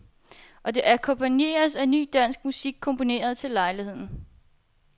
Og det akkompagneres af ny, dansk musik, komponeret til lejligheden.